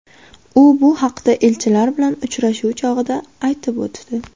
U bu haqda elchilar bilan uchrashuv chog‘ida aytib o‘tdi.